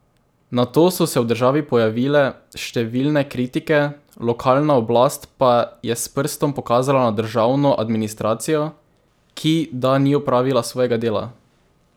Nato so se v državi pojavile številne kritike, lokalna oblast pa je s prstom pokazala na državno administracijo, ki da ni opravila svojega dela.